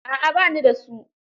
A'a ba ni da su.